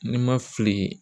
Ni n ma fili